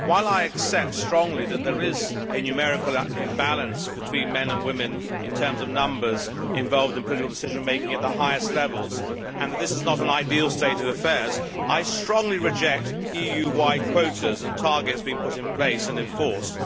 While I accept strongly that there is a numerical imbalance between men and women in terms of numbers involved in political decision making at the highest levels, and that this is not an ideal state of affairs, I strongly reject EU wide quotas and targets being put in place and enforced.